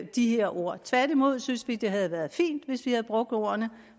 de her ord tværtimod synes vi det havde været fint hvis vi havde brugt ordene